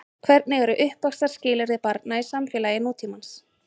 Hvernig eru uppvaxtarskilyrði barna í samfélagi nútímans?